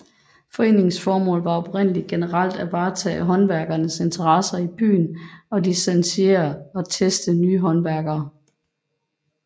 Foreningens formål var oprindeligt generelt at varetage håndværkernes interesser i byen og licensere og teste nye håndværkere